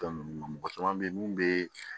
Fɛn ninnu mɔgɔ caman be yen mun be